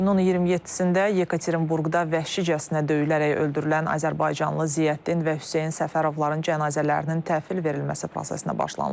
İyunun 27-də Yekaterinburqda vəhşicəsinə döyülərək öldürülən azərbaycanlı Ziyəddin və Hüseyn Səfərovların cənazələrinin təhvil verilməsi prosesinə başlanılıb.